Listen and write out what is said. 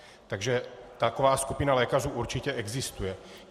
Takže taková skupina lékařů určitě existuje.